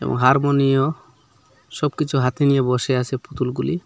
হারমোনিও সবকিছু হাতে নিয়ে বসে আছে পুতুলগুলি।